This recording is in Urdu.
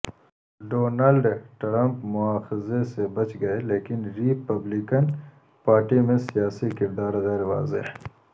ڈونلڈ ٹرمپ مواخذے سے بچ گئے لیکن ری پبلکن پارٹی میں سیاسی کردار غیر واضح